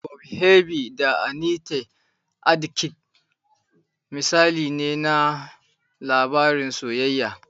"Bob Harvey da Annete Adkins" misali ne na labarin soyayya.